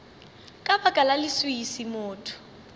ka baka la leswiswi motho